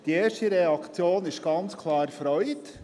Die erste Reaktion ist ganz klar Freude.